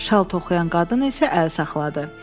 Şal toxuyan qadın isə əl saxladı.